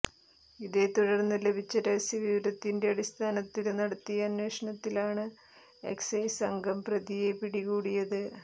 ഇതേ തുടര്ന്ന് ലഭിച്ച രഹസ്യ വിവരത്തിന്റെ അടിസ്ഥാനത്തില് നടത്തിയ അന്വേഷണത്തിലാണ് എക്സൈസ് സംഘം പ്രതിയെ പിടികൂടിയത്